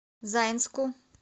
заинску